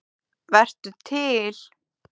Vertu til.